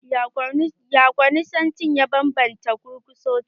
Ya kwaninsanci ya ban banta da gurguzanci?